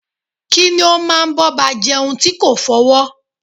Kí ni o máa bọba jeun ti ko fọwọ́?